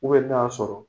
n'a y'a sɔrɔ